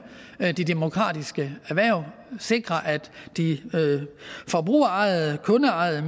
de demokratiske erhverv og sikre at de forbrugerejede kundeejede